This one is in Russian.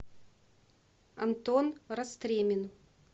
антон растремин